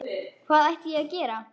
Hvað ætti ég að gera?